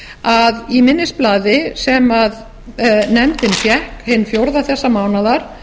að í minnisblaði sem nefndin fékk hinn fjórði þessa mánaðar